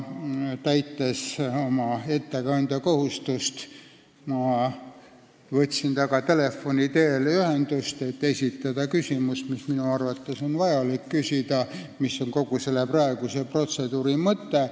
Täites ettekandja kohustust, võtsin ma temaga telefoni teel ühendust, et esitada küsimus, mida minu arvates on vaja küsida ja mis on kogu selle praeguse protseduuri mõte.